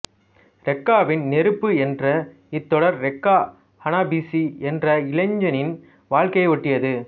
ரெக்காவின் நெருப்பு என்ற இத்தொடர் ரெக்கா ஹானபீஷீ என்ற இளைஞனின் வாழ்க்கையை ஒட்டியது